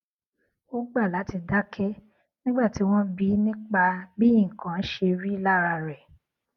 ó gbà láti dáké nígbà tí wón bi í nípa bí nǹkan ṣe rí lára rè